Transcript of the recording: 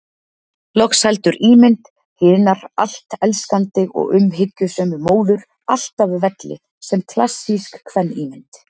Loks heldur ímynd hinar allt elskandi og umhyggjusömu móður, alltaf velli sem klassísk kvenímynd.